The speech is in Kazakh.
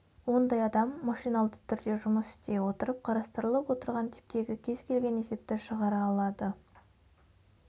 ондай адам машиналды түрде жұмыс істей отырып қарастырылып отырған типтегі кез-келген есепті шығара алады